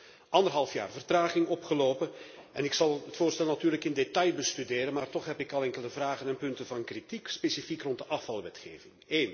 We hebben anderhalf jaar vertraging opgelopen en ik zal het voorstel natuurlijk in detail bestuderen, maar toch heb ik al enkele vragen en punten van kritiek, specifiek rond de afvalwetgeving.